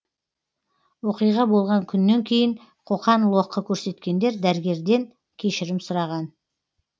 оқиға болған күннен кейін қоқан лоққы көрсеткендер дәрігерлерден кешірім сұраған